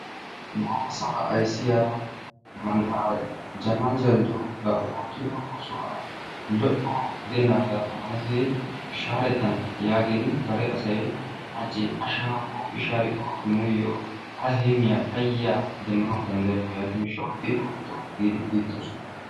Goofa sawulla ayssiyaa mantta Jamal Jaldu bari ootiyodo oosuwaa lo'o gidenagga amanettidi shaaretana yaagin dere asay hachchi a shaarikko, shaarikko hara heemiya payaa demmana dandayokko, yaaniyo gishawu i ootto gidi kuyidossona.